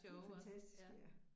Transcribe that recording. De fantastiske ja